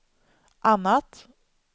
annat